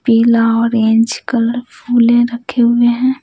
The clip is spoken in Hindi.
पीला ऑरेंज कलर फूले रखे हुए हैं।